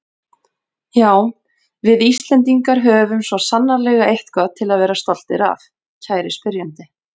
Já, við Íslendingar höfum svo sannarlega eitthvað til að vera stoltir af, kæri spyrjandi.